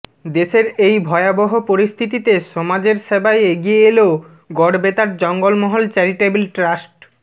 দেশের এই ভয়াবহ পরিস্থিতিতে সমাজের সেবায় এগিয়ে এলো গড়বেতার জঙ্গলমহল চ্যারিটেবল ট্রাস্ট